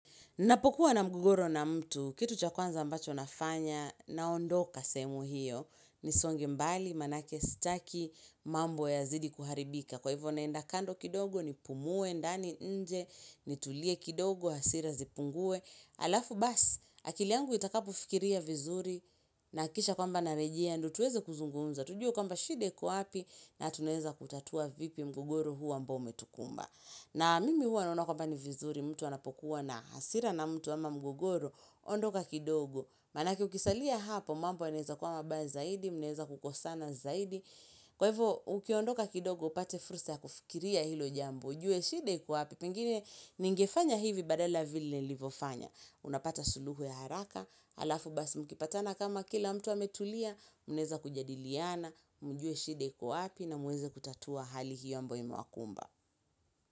Napokuwa na mgogoro na mtu, kitu cha kwanza ambacho nafanya, naondoka sehemu hiyo, nisonge mbali, manake, sitaki, mambo yazidi kuharibika. Kwa hivyo naenda kando kidogo nipumue, ndani nje, nitulie kidogo, hasira zipungue. Alafu basi, akili yangu itakapofikiria vizuri, nahakikisha kwamba narejea, ndio tuweze kuzungunza, tujue kwamba shida iko wapi, na tunaweza kutatua vipi mgogoro huo ambao umetukumba. Na mimi huwa naona kwamba ni vizuri, mtu anapokuwa na hasira na mtu ama mgogoro, ondoka kidogo. Manake ukisalia hapo, mambo yanaweza kuwa mabaya zaidi, mneza kukosana zaidi. Kwa hivyo, ukiondoka kidogo, upate fursa ya kufikiria hilo jambo. Ujue shida iko wapi, pengine ningefanya hivi badala vile nilivyofanya. Unapata suluhu ya haraka, halafu basi mkipatana kama kila mtu ametulia, mnaweza kujadiliana, mjue shida iko wapi na muweze kutatua hali hiyo ambayo imewakumba.